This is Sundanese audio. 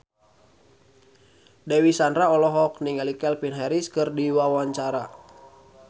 Dewi Sandra olohok ningali Calvin Harris keur diwawancara